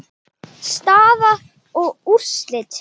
Staða og úrslit